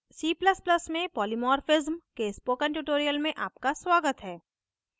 c ++ में polymorphism के spoken tutorial में आपका स्वागत है